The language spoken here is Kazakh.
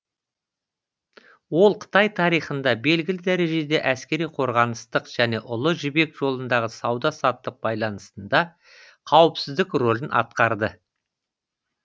ол қытай тарихында белгілі дәрежеде әскери қорғаныстық және ұлы жібек жолындағы сауда саттық байланысында қауіпсіздік рөлін атқарды